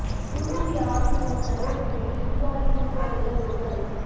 தூத்துக்குடி ஆவின் மூலம் சலுகை விலையில் தீபாவளி இனிப்பு வகைகள் விற்பனை